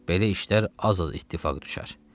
Belə işlər az-az ittifaq düşər.